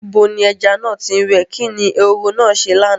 Ibo ni ẹja náà ti ń wẹ̀? Kí ni ehoro náà ṣe lánàá?